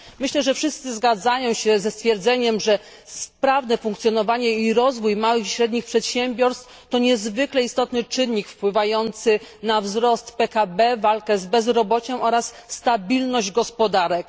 Myślę, że wszyscy zgadzają się ze stwierdzeniem, że sprawne funkcjonowanie oraz rozwój małych i średnich przedsiębiorstw to niezwykle istotny czynnik wpływający na wzrost PKB, walkę z bezrobociem i stabilność gospodarek.